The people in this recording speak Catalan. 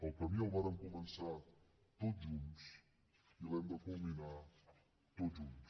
el camí el vàrem començar tots junts i l’hem de culmi nar tots junts